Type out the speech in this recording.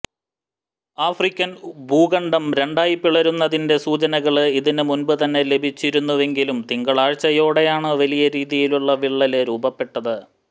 African ഭൂഖണ്ഡം രണ്ടായി പിളരുന്നതിന്റെ സൂചനകള് ഇതിന് മുന്പ് തന്നെ ലഭിച്ചിരുന്നുവെങ്കിലും തിങ്കളാഴ്ചയോടെയാണ് വലിയ രീതിയിലുള്ള വിള്ളല് രൂപപ്പെട്ടത്